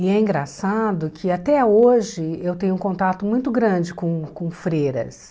E é engraçado que até hoje eu tenho um contato muito grande com com freiras.